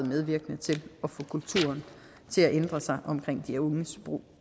medvirkende til at få kulturen omkring de unges brug